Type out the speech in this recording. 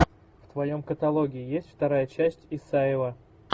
в твоем каталоге есть вторая часть исаева